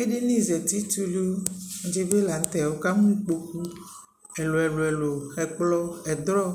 ɛdini zati tʋlʋ dibi lantɛ, wʋ kamʋ ikpɔkʋ ɛlʋɛlʋ, ɛkplɔ, ɛdrɔ,